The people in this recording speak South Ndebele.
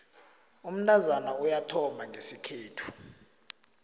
umntazana uyathomba ngesikhethu